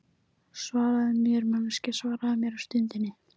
Svaraðu mér, manneskja, svaraðu mér á stundinni.